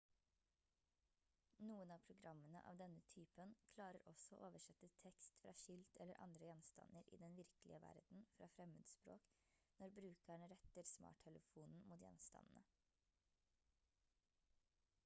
noen av programmene av denne typen klarer også å oversette tekst fra skilt eller andre gjenstander i den virkelige verden fra fremmedspråk når brukeren retter smarttelefonen mot gjenstandene